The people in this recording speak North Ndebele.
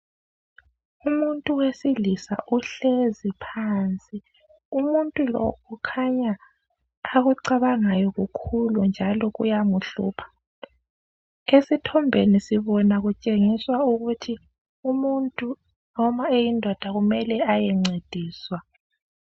Umuntu wesilisa uhlezi phansi umuntu lo kukhanya akucabangayo kukhulu njalo kuyamhlupha, esithombeni sibona kutshengiswa ukuthi umuntu noma eyindoda kumele aye ncediswa.